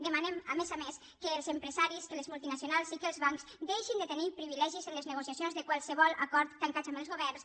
demanem a més a més que els empresaris que les multinacionals i que els bancs deixin de tenir privilegis en les negociacions de qualsevol acord tancat amb els governs